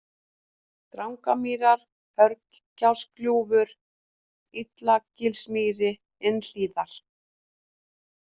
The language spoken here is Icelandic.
Drangamýrar, Hörgsárgljúfur, Illagilsmýri, Innhlíðar